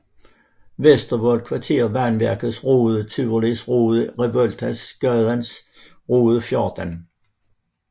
Vestervold Kvarter Vandværkets Rode Tivolis Rode Reventlowsgades Rode 14